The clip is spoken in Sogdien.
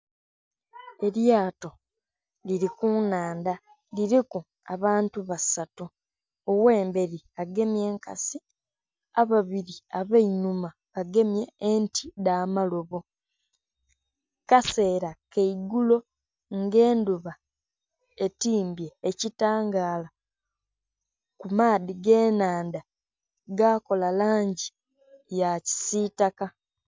Elyato liri kunhandha, liriku abantu basatu oghemberi agemye enkasi, ababiri abainhuma bagemye enti edhamalobo. Kasera kaigulo nga enhuba etimbye ekitangala kumaadhi gennhandha gakola langi yakisitaka.